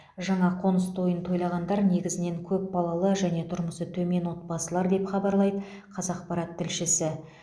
жаңа қоңыс тойын тойлағандар негізінен көпбалалы және тұрмысы төмен отбасылар деп хабарлайды қазақпарат тілшісі